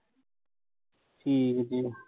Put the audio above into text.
ਠੀਕ ਜੇ।